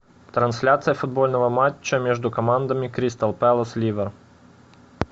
трансляция футбольного матча между командами кристал пэлас ливер